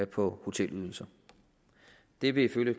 på hotelydelser det vil ifølge